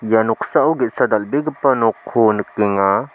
ia noksao ge·sa dal·begipa nokko nikenga.